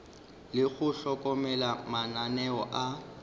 le go hlokomela mananeo a